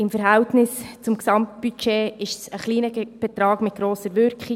Im Verhältnis zum Gesamtbudget ist es ein kleiner Betrag mit grosser Wirkung.